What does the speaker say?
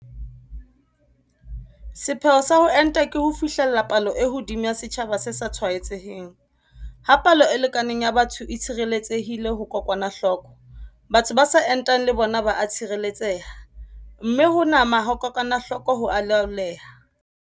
Sepheo sa ho enta ke ho fihlella palo e hodimo ya setjhaba se sa tshwaetseheng - ha palo e lekaneng ya batho e tshireletsehile ho kokwanahloko, batho ba sa entang le bona ba a tshireletseha, mme ho nama ha kokwanahloko ho a laoleha.